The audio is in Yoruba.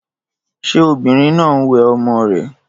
Ṣé obìnrin náà ń wẹ ọmọ rè?